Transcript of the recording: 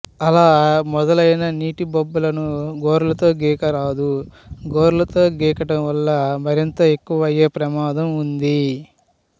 అలా మొదలయిన నీటి బొబ్బలను గోర్లతో గీకరాదు గోర్లతో గీకడం వల్ల మరింత ఎక్కువ అయ్యే ప్రమాదం ఉంది